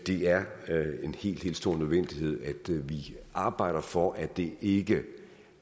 er en helt stor nødvendighed at vi arbejder for at det ikke